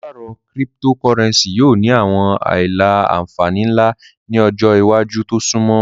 Paṣipaarọ Cyptocurrency yoo ni awọn aila-nfani nla ni ọjọ iwaju to sunmọ